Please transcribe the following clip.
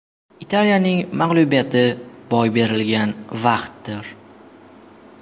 Italiyaning mag‘lubiyati boy berilgan vaqtdir.